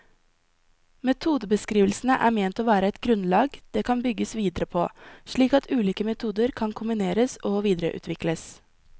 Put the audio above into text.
Metodebeskrivelsene er ment å være et grunnlag det kan bygges videre på, slik at ulike metoder kan kombineres og videreutvikles.